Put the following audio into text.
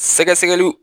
Sɛgɛsɛgɛliw